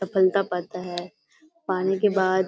पड़ता है पानी बाद --